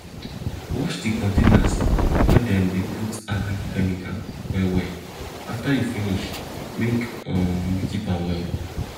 wash di containers wey dem dey put agric chemical well well afta you finish make um you keep am well